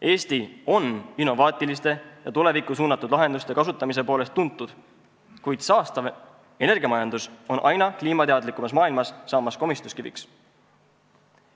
Eesti on innovaatiliste ja tulevikku suunatud lahenduste kasutamise poolest tuntud, kuid saastav energiamajandus on aina kliimateadlikumas maailmas saamas komistuskiviks.